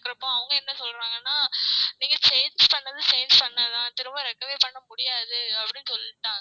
அவங்க என்ன சொல்லறாங்கன்னா நீங்க change பண்ணது change பண்ணது தான் திரும்ப recover பண்ண முடியாது அப்டின்னு சொல்லிட்டாங்க